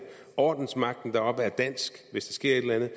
ordensmagten deroppe er dansk hvis der sker et eller andet at